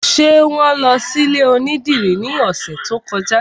Ṣé wọn lọ sí ilé onídìrí ní ọ̀sẹ̀ tó kọjá?